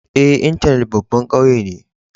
Eh, intenet babban kauye ne.